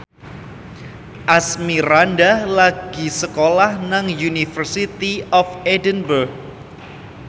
Asmirandah lagi sekolah nang University of Edinburgh